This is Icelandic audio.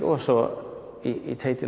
og svo í